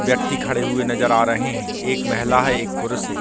व्यक्ति खड़े हुए नज़र आ रहे हैं एक महिला है एक पुरुष है।